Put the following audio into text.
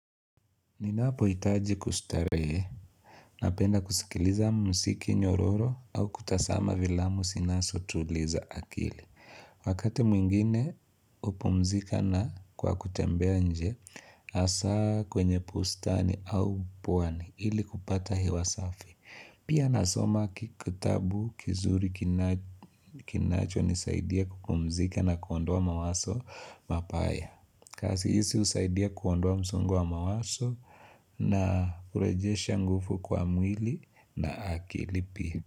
Ninapohitaji kustarehe, napenda kusikiliza mziki nyororo au kutazama vilamu zinazotuliza akili. Wakati mwingine hupumzika na kwa kutembea nje hasaa kwenye bustani au pwani ili kupata hewa safi. Pia nasoma kitabu kizuri kinachonisaidia kupumzika na kuondowa mawazo mabaya. Kazi hizi husaidia kuondoa msongo wa mawazo na hurejesha nguvu kwa mwili na akili pia.